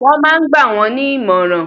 Wọ́n ma ń gbà wọ́n ní ìmọ̀ràn.